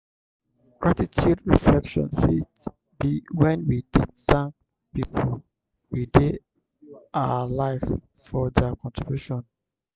gratitude reflection fit be when we dey thank pipo wey dey our live for their contribution